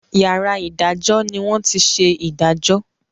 yàrá idajọ ni wón tí ṣe idajọ.